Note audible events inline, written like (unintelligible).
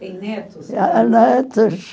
Tenho netos? (unintelligible) netos.